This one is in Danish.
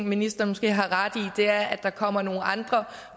ministeren måske har ret i og det er at der kommer nogle andre